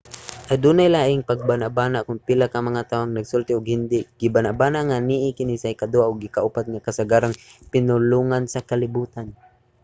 adunay lainlaing pagbanabana kon pila ka mga tawo ang nagasulti og hindi. gibanabana nga naa kini sa ikaduha ug ikaupat nga kasagarang pinulongan sa kalibutan